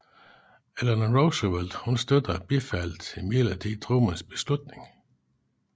Eleanor Roosevelt støttede og bifaldt imidlertid Trumans beslutning